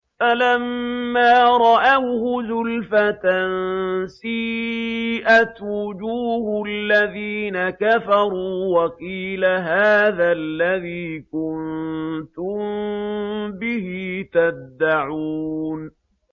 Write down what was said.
فَلَمَّا رَأَوْهُ زُلْفَةً سِيئَتْ وُجُوهُ الَّذِينَ كَفَرُوا وَقِيلَ هَٰذَا الَّذِي كُنتُم بِهِ تَدَّعُونَ